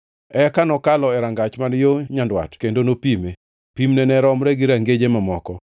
Eka nokalo e rangach man yo nyandwat kendo nopime. Pimne ne romre gi rangeje mamoko,